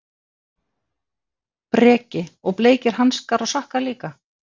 Breki: Og bleikir hanskar og sokkar líka?